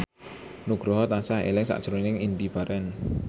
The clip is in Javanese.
Nugroho tansah eling sakjroning Indy Barens